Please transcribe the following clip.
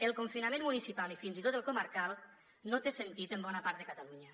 el confinament municipal i fins i tot el comarcal no té sentit en bona part de catalunya